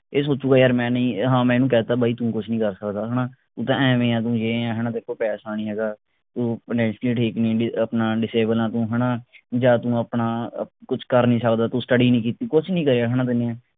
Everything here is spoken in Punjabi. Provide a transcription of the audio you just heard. ਇਹ ਸੋਚੂਗਾ ਯਾਰ ਮੈਂ ਨਹੀਂ ਹਾਂ ਮੈਂ ਇਹਨੂੰ ਕਹਿਤਾ ਬਾਈ ਤੂੰ ਕੁਸ਼ ਨਹੀਂ ਕਰ ਸਕਦਾਹਣਾ ਤੂੰ ਤਾਂ ਐਂਵੇਂ ਹੈਂ ਤੂੰ ਯੇ ਹੈਂ ਤੇਰੇ ਕੋਲ ਪੈਸਾ ਨਹੀਂ ਹੈਗਾ ਤੂੰ finacially ਠੀਕ ਨਹੀਂ ਅਹ ਆਪਣਾ disable ਆ ਤੂੰ ਹਣਾ ਜਾਂ ਤੂੰ ਆਪਣਾ ਕੁਛ ਕਰ ਨਹੀਂ ਸਕਦਾ ਤੂੰ study ਨਹੀਂ ਕੀਤੀ ਕੁਛ ਨਹੀਂ ਕਰਿਆ ਹਣਾ ਤੈਨੂੰ